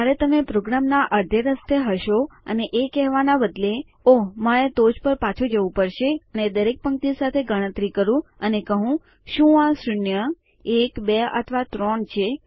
તો જયારે તમે પ્રોગ્રામના અડધે રસ્તે હશો અને એ કેહવાના બદલે ઓહ મારે ટોચ પર પાછું જવું પડશે અને દરેક પંક્તિ સાથે ગણતરી કરું અને કહું શું આ શૂન્ય એક બે અથવા ત્રણ છે